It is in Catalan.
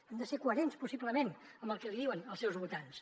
han de ser coherents possiblement amb el que li diuen els seus votants